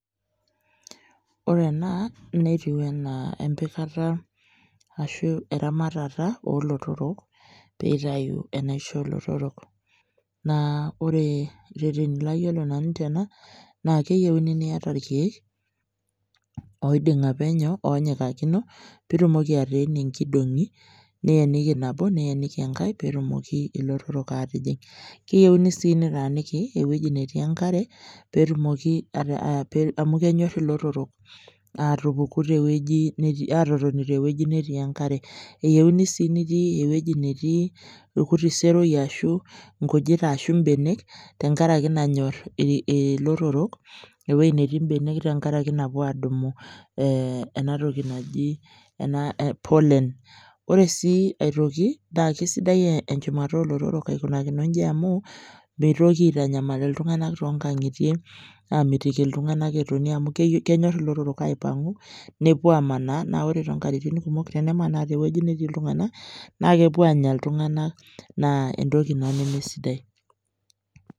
Orenaa netiu anaa empikata ashuu eramatata oolotorok peeitayu enaisho olotorok. Naa ore rreteni layiolo nanu tena naa keyeuni niata ilkeek oiding'a penyo oonyikakino piitumoki ateenie nkidong'i nieniki nabo nieniki engai peetumoki ilotorrok aatijing'. Keyeuni sii netaaniki ewueji netii enkare peetumoki, amu kenyorr ilotorrok aatupuku tewueji netii, aatotoni tewueji netii enkare. Eyeuni sii nitii ewueji netii ilkuti seroi ashu nkujit ashu mbenek tengarake nanyorr ilotorrok ewuei netii mbenek tengarake napuo adumu ee enatoki naji pollen. Ore sii aitoki naske sidai enchumata oolotorok aikunakino inji amuu meitoki aitanyamal iltung'anak tongang'itie amitiki iltung'ana etoni amu kenyorr ilotorrok aipang'u nepuo aamanaa naa ore too nkatitin kumok tenemanaa tewueji natii iltung'ana naakepuo anya iltung'ana naa entoki ina nemesidai.